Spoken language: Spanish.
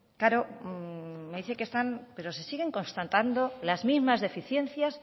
claro me dice que están pero se siguen constatando las mismas deficiencias